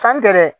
San tɛ dɛ